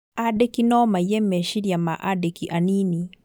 Andĩki no maiye meciria ma andĩki anini